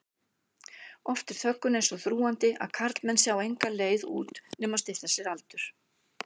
Oft er þöggunin svo þrúgandi að karlmenn sjá enga leið út nema stytta sér aldur.